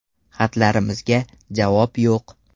Xatlarimizga javob yo‘q”.